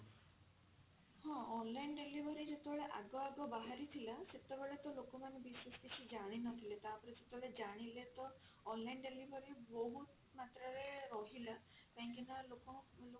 ହଁ online delivery ଯେତେବେଳେ ଆଗ ଆଗ ବାହାରିଥିଲା ସେତେବେଳେ ତ ଲୋକମାନେ ବିଶେଷ କିଛି ଜାଣିନଥିଲେ ତାପରେ ଯେତେବେଳେ ଜାଣିଲେ ତ online delivery ବହୁତ ମାତ୍ରା ରେ ରହିଲା କାହିଁକି ନା